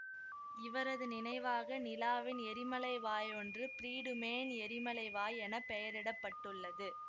இவரது நினைவாக நிலாவின் எரிமலைவாய் ஒன்று பிரீடுமேன் எரிமலைவாய் என பெயரிட பட்டுள்ளது